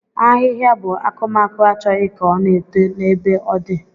Ahihia bu akumaku Achọghị ka o na-eto na ebe o di.